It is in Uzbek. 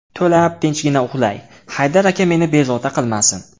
To‘lab tinchgina uxlay, Haydar aka meni bezovta qilmasin.